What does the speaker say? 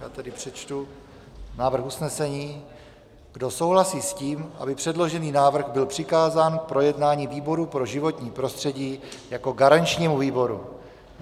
Já tedy přečtu návrh usnesení: Kdo souhlasí s tím, aby předložený návrh byl přikázán k projednání výboru pro životní prostředí jako garančnímu výboru?